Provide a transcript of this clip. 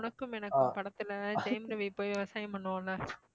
உனக்கும் எனக்கும் படத்துல ஜெயம் ரவி போய் விவசாயம் பண்ணுவான் இல்ல